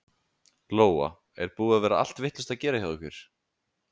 Lóa: Er búið að vera allt vitlaust að gera hjá ykkur?